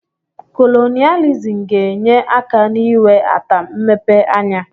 Kolonailizm ga-enye aka n'iwe ata mmepe anya.